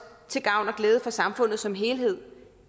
til gavn og glæde for samfundet som helhed